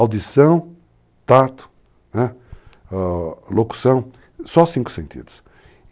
Audição, tato, né, locução, o, só cinco sentidos.